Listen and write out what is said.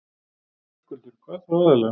Höskuldur: Hvað þá aðallega?